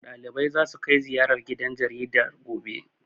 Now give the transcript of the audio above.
Ɗaliban zasu kai ziyara gidan jaridar, gobe. be